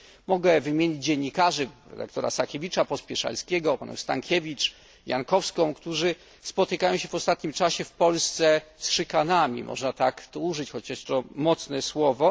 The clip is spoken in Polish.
Mogę wymienić dziennikarzy redaktora Sakiewicza, Pospieszalskiego, redaktor Stankiewicz, Jankowską, którzy spotykają się w ostatnim czasie w Polsce z szykanami, można tak powiedzieć, chociaż to mocne słowo.